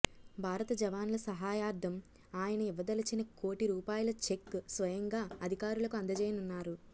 భారత జవాన్ల సహాయార్థం ఆయన ఇవ్వదలచిన కోటి రూపాయల చెక్ స్వయంగా అధికారులకు అందజేయనున్నారు